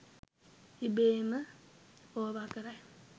ඉබේම ඕවා කරයි